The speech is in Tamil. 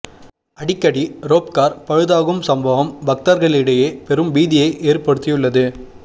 அடிக்கடி ரோப் கார் பழுதாகும் சம்பவம் பக்தர்களிடையே பெரும் பீதியை ஏற்படுத்தியுள்ளது